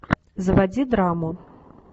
заводи драму